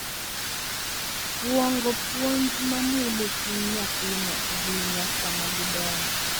Kuong’o puonj ma mulo chuny nyathino ahinya sama gidongo.